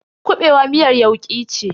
kuɓewa miyar yauki ce.